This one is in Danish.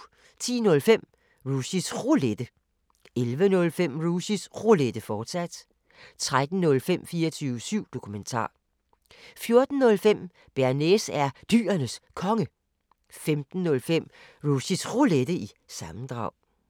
10:05: Rushys Roulette 11:05: Rushys Roulette, fortsat 13:05: 24syv Dokumentar 14:05: Bearnaise er Dyrenes Konge 05:05: Rushys Roulette – sammendrag